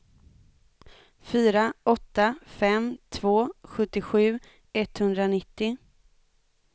fyra åtta fem två sjuttiosju etthundranittio